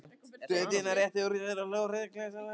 Daðína rétti úr sér og hló tryllingslegum hlátri.